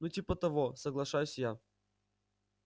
ну типа того соглашаюсь я